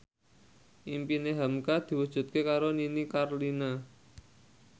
impine hamka diwujudke karo Nini Carlina